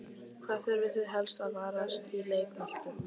Hvað þurfið þið helst að varast í leik Möltu?